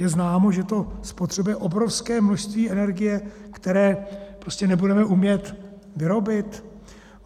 Je známo, že to spotřebuje obrovské množství energie, které prostě nebudeme umět vyrobit.